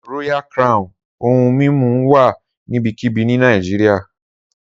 Royal Crown ohun mimu wa nibikibi ni Nigeria.